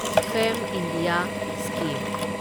ꯐꯦꯝ India scheme